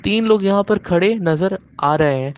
तीन लोग यहां पर खड़े नजर आ रहे हैं।